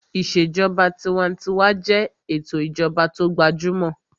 Ìṣèjọba tinwatinwa jẹ́ ètò ìjọba tó gbajúmọ̀